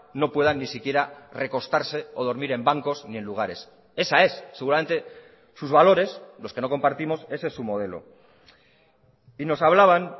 no puedan ni siquiera recostarse o dormir en bancos ni en lugares esa es seguramente sus valores los que no compartimos ese es su modelo y nos hablaban